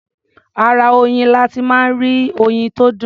Ara oyin la ti máa ń rí oyin tó dùn.